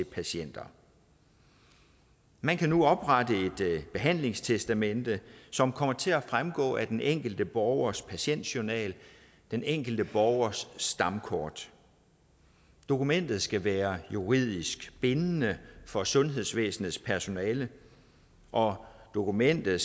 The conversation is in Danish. patienter man kan nu oprette et behandlingstestamente som kommer til at fremgå af den enkelte borgers patientjournal den enkelte borgers stamkort dokumentet skal være juridisk bindende for sundhedsvæsenets personale og dokumentet